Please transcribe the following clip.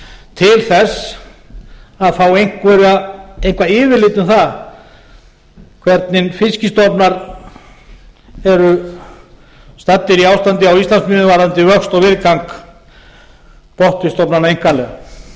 til þess að fá eitthvað yfirlit um það hvernig fiskstofna eru staddir í ástandi á íslandsmiðum varðandi vöxt og viðgang botnfiskstofnanna einkanlega